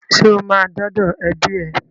Ṣo máa dọ́dọ̀ ẹbí ẹ?